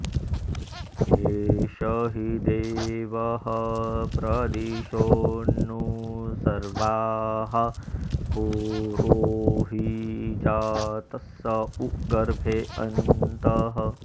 ए॒ष हि दे॒वः प्र॒दिशोऽनु॒ सर्वाः॒ पूर्वो॑ हि जा॒तस्स उ॒ गर्भे॑ अ॒न्तः